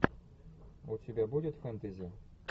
у тебя будет фэнтези